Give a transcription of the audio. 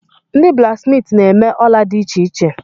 Ndị blaksmiiti na-eme ola dị iche iche.